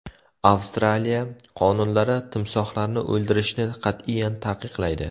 Avstraliya qonunlari timsohlarni o‘ldirishni qat’iyan taqiqlaydi.